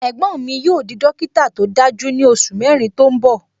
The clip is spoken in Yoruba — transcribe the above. Ẹ̀gbọ́n mi yóò di dókítà tó dájú ní oṣù mẹrin tó ń bọ